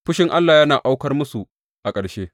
Fushin Allah ya aukar musu a ƙarshe.